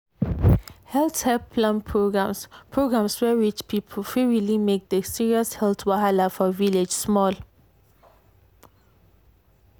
health help plan programs programs wey reach people fit really make the serious health wahala for village small.